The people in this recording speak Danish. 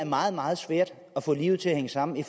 meget meget svært at få livet til at hænge sammen i